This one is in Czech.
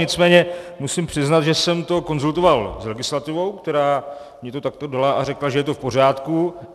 Nicméně musím přiznat, že jsem to konzultoval s legislativou, která mi to takto dala a řekla, že je to v pořádku.